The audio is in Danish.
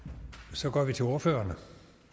så går vi til ordførerne